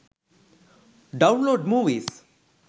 download movies